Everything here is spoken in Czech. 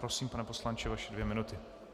Prosím, pane poslanče, vaše dvě minuty.